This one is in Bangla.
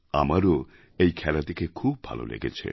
আমারও এই খেলা দেখে খুব ভালো লেগেছে